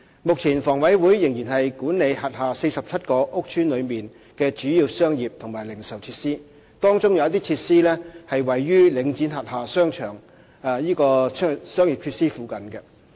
目前，房委會仍然管理轄下47個屋邨內的主要商業及零售設施，當中有些設施位於領展轄下的商業設施附近。